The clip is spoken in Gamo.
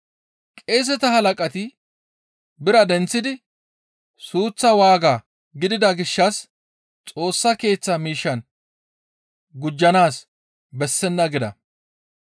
Qeeseta halaqati biraa denththidi, «Suuththa waaga gidida gishshas Xoossa Keeththa miishshan gujjanaas bessenna» gida.